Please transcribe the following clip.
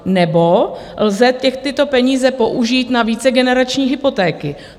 Nebo lze těch tyto peníze použít na vícegenerační hypotéky.